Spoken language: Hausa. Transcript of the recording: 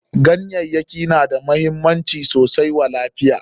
Ganyayyaki na da muhimmanci sosai wa lafiya.